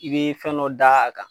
I be fɛn dɔ da a kan